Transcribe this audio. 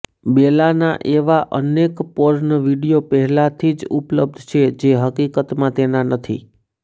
બેલાના એવા અનેક porn video પહેલાંથી જ ઉપલબ્ધ છે જે હકીકતમાં તેના નથી